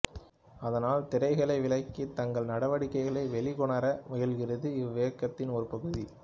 அதனால் திரைகளை விலக்கி தங்கள் நடவடிக்கைகளை வெளிக்கொணர முயல்கிறது இவ்வியக்கத்தின் ஒரு பகுதி